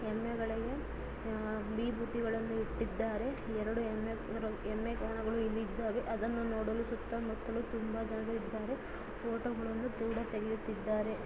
ಎಮ್ಮೆಗಳಿಗೂ ಆ ವಿಭೂತಿಗಳನ್ನು ಇಟ್ಟಿದ್ದಾರೆ ಎರಡು ಎಮ್ಮೆ ಎಮ್ಮೆಗಳನ್ನು ಇಲ್ಲಿ